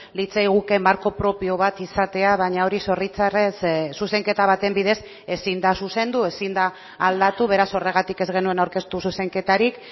litzaiguke marko propio bat izatea baina hori zoritzarrez zuzenketa baten bidez ezin da zuzendu ezin da aldatu beraz horregatik ez genuen aurkeztu zuzenketarik